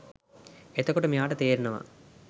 එතකොට මෙයාට තේරෙනව